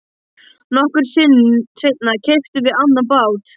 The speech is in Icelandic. Nokkru seinna keyptum við annan bát.